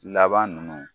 Laban ninnu